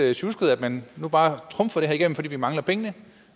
lidt sjusket at man nu bare trumfer det her igennem fordi man mangler pengene